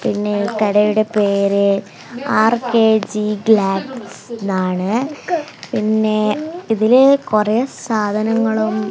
പിന്നെ കടയുടെ പേര് ആർ_കെ_ജി ഗ്ലാപ്സ് എന്നാണ് പിന്നെ ഇതിലിൽ കുറേ സാധനങ്ങളും--